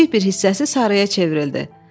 Kiçik bir hissəsi sarıya çevrildi.